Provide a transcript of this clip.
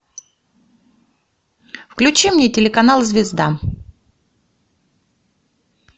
включи мне телеканал звезда